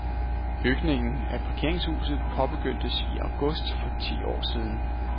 Bygningen af parkeringshuset påbegyndtes i august for ti år siden.